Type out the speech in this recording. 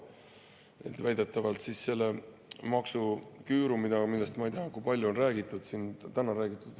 väidetavast maksuküürust, millest, ma ei tea kui palju on siin täna räägitud.